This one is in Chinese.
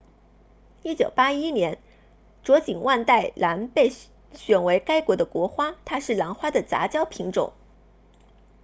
1981年卓锦万代兰被选为该国的国花它是兰花的杂交品种